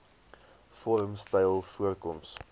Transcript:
vorm styl voorkoms